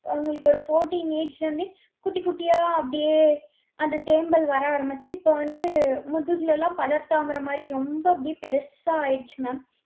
அவங்களுக்கு ஒரு fourteen age ல இருந்தே, குட்டி குட்டியா அப்படியே, அந்த தேமல் வர ஆரம்பிச்சு, இப்ப வந்து, முதுகுல எல்லாம் படர்தாமரை மாதிரி, ரொம்ப அப்படியே பெருசா ஆயிடுச்சு mam.